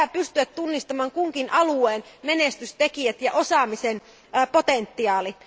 Meidän pitää pystyä tunnistamaan kunkin alueen menestystekijät ja osaamisen potentiaali.